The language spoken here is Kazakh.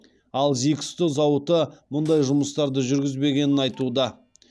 ал зиксто зауыты мұндай жұмыстарды жүргізбегенін айтуда